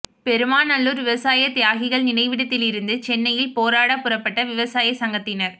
பெருமாநல்லூர் விவசாய தியாகிகள் நினைவிடத்தில் இருந்து சென்னையில் போராடப் புறப்பட்ட விவசாய சங்கத்தினர்